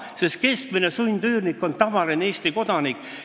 Sest keskmine sundüürnik on tavaline Eesti kodanik.